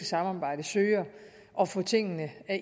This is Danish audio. samarbejde søger at få tingene